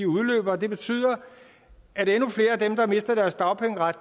udløber og det betyder at endnu flere af dem der mister deres dagpengeret